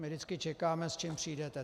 My vždycky čekáme, s čím přijdete.